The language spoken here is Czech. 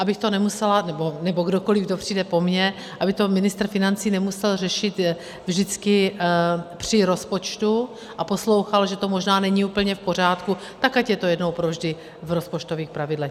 Abych to nemusela - nebo kdokoli, kdo přijde po mně, aby to ministr financí nemusel řešit vždycky při rozpočtu a poslouchat, že to možná není úplně v pořádku, tak ať je to jednou pro vždy v rozpočtových pravidlech.